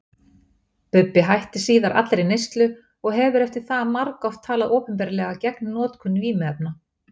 Bubbi hætti síðar allri neyslu og hefur eftir það margoft talað opinberlega gegn notkun vímuefna.